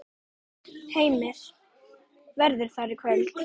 Heimir: Verður það í kvöld?